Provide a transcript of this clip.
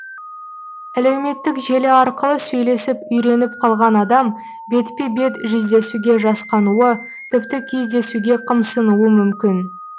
әлеуметтік желі арқылы сөйлесіп үйреніп қалған адам бетпе бет жүздесуге жасқануы тіпті кездесуге қымсынуы мүмкін